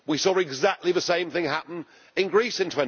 We saw exactly the same thing happen in Greece in